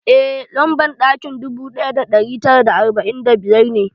Eh lamban ɗakin dubu ɗaya da ɗari tara arba'in da biyar ne